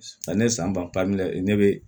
Ani san ban ne bɛ